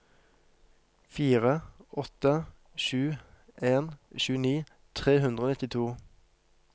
fire åtte sju en tjueni tre hundre og nittito